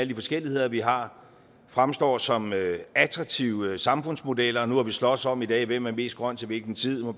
de forskelligheder vi har fremstår som attraktive samfundsmodeller og nu har vi sloges om i dag hvem der er mest grøn og til hvilken tid og